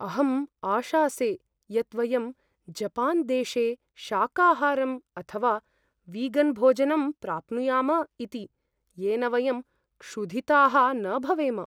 अहम् आशासे यत् वयं जपान्देशे शाकाहारं अथवा वीगन्भोजनं प्राप्नुयाम इति, येन वयं क्षुधिताः न भवेम।